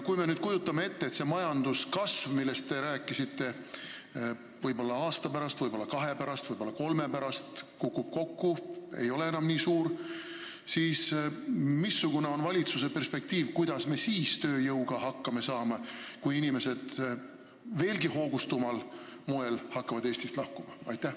Kui me nüüd kujutame ette, et see majanduskasv, millest te rääkisite, võib-olla aasta, võib-olla kahe aasta, võib-olla kolme aasta pärast kukub kokku, see ei ole enam nii suur, siis missugune on valitsuse perspektiiv, kuidas me siis tööjõuprobleemiga hakkama saame, kui inimesed veelgi hoogsamal moel hakkavad Eestist lahkuma?